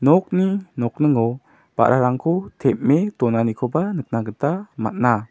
nokni nokningo ba·rarangko tem·e donanikoba nikna gita man·a.